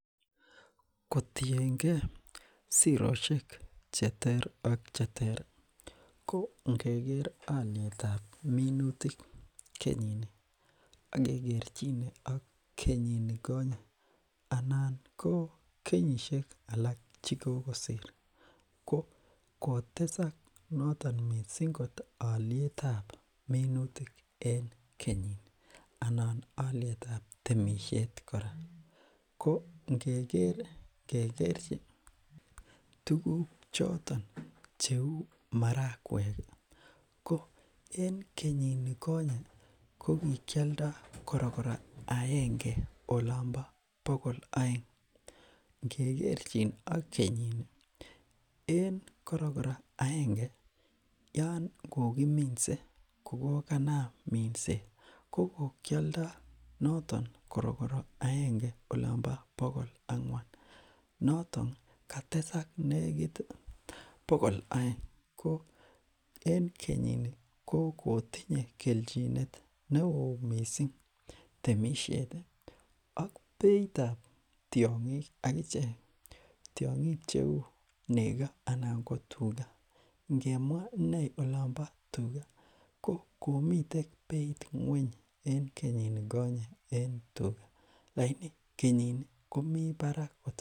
Kotiengee siroshek cheter ak cheter ko ngeker olietap minutik en Kenyini ak kekerchine ak kenyinikonye anan ko kenyishek alak chekokisir kokotesak notok mising olietab minutik en Kenyini anan olietab temishet kora kongekerchi tuguk choton cheu marakweki ko en Kenyini konye kokikioldo kororkoro agenge olompo Bogol oeng ngekerchin ak kenyini en korokoro aenge Yoon kokiminse kokokanam mindset kokikioldo notok korokoro agenge olompo Bogoll angwan notok kotesak nekit Bogol oeng koen Kenyini ko kotinye kelchinet neoo mising temishet ak beitab tiongik akichek tiongik cheu neko ana kotuka ngemwa inee olompo tuga kokomiten beit ngweny en Kenyini konye tuga lagini kenyini komiten Barak